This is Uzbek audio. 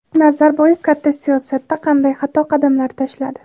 Nazarboyev katta siyosatda qanday xato qadamlar tashladi?.